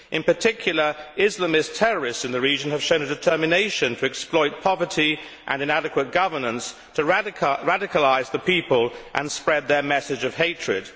In particular, Islamist terrorists in the region have shown a determination to exploit poverty and inadequate governance to radicalise the people and spread their message of hatred.